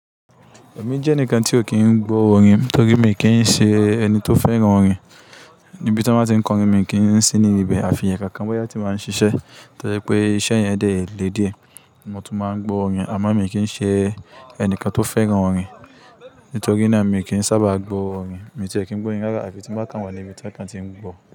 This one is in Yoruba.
Èmi jẹ́nìkan tí o kì í gbọ́ orin, torí mi kì í ṣe ẹni tó fẹ́ràn orin. Níbi tán bá tí ń kọ orin, mi kì ń sí níbibẹ̀, àfiẹ̀ẹ̀ kankan bóyá tí bá ń ṣiṣẹ́, tójẹ pé iṣẹ́ yẹn dẹ̀ ẹ̀ le díẹ̀ Mo tún máa ń gbọ́ orin, àmọ́ mi kì ń ṣe ẹnìkan tó fẹ́ràn orin. Nítorí náà mi kì ń sábà gbọ́ orin, mi ì ti ẹ̀ kì ń gbọ́rin rárá àfi tí n bá kàn wà níbi tán kan tí ń gbọ̀.